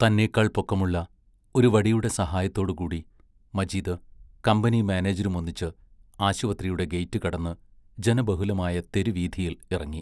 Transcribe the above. തന്നേക്കാൾ പൊക്കമുള്ള ഒരു വടിയുടെ സഹായത്തോടുകൂടി മജീദ് കമ്പനി മാനേജരുമൊന്നിച്ച് ആശുപത്രിയുടെ ഗേറ്റു കടന്നു ജനബഹുലമായ തെരുവീഥിയിൽ ഇറങ്ങി.